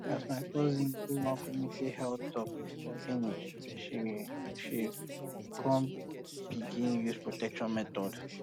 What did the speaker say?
as my cousin go one community health talk finish she she come begin use protection method